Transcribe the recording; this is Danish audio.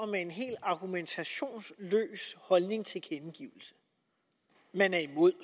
med en helt argumentationsløs holdningstilkendegivelse man er imod